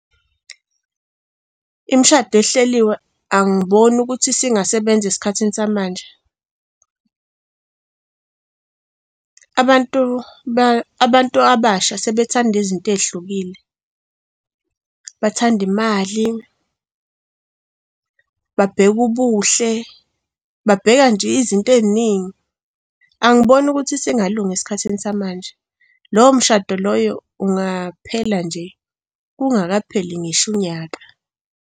Imishado ehleliwe angiboni ukuthi isingasebenzi esikhathini samanje. Abantu abantu abasha sebethanda izinto ey'hlukile, bathanda imali, babheke ubuhle, babheka nje izinto ey'ningi. Angiboni ukuthi singalungisa esikhathini samanje. Lowo mshado loyo ungaphela nje kungakapheli ngisho unyaka.